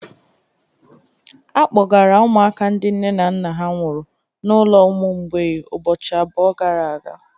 A kpọgara ụmụaka ndị nne na nna ha nwụrụ n'ulo ụmụ mgbei ụbọchị abụọ gara aga.